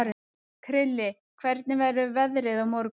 Krilli, hvernig verður veðrið á morgun?